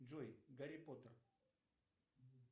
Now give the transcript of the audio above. джой гарри поттер